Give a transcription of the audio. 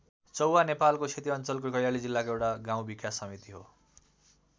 चौहा नेपालको सेती अञ्चलको कैलाली जिल्लाको एउटा गाउँ विकास समिति हो।